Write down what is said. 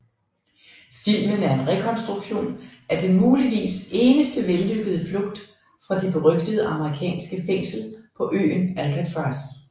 Filmen er en rekonstruktion af den muligvis eneste vellykkede flugt fra det berygtede amerikanske fængsel på øen Alcatraz